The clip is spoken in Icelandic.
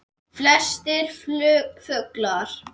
Flestir fuglar